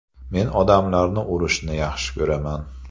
Men odamlarni urishni yaxshi ko‘raman.